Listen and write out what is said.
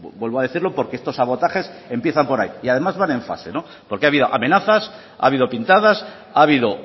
vuelvo a decirlo porque estos sabotajes empiezan por ahí y además van en fase porque ha habido amenazas ha habido pintadas ha habido